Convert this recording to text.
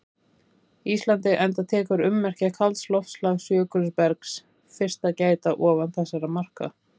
Íslandi enda tekur ummerkja kalds loftslags- jökulbergs- fyrst að gæta ofan þessara marka.